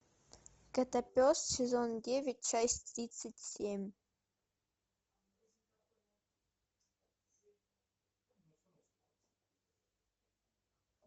котопес сезон девять часть тридцать семь